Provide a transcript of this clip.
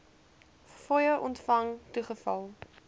fooie ontvang toegeval